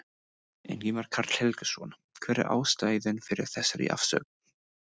Ingimar Karl Helgason: Hver er ástæðan fyrir þessari afsögn?